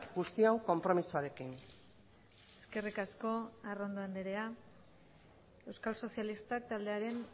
guztion konpromisoarekin eskerrik asko arrondo andrea euskal sozialistak taldearen